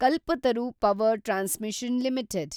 Kalpataru power transmission limited